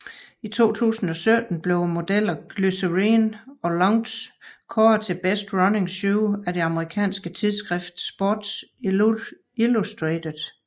I 2017 blev modellerne Glycerine og Launch kåret til Best Running Shoe af det amerikanske tidskrift Sports Illustrated